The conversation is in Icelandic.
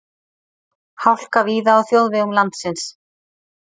Hálka víða á þjóðvegum landsins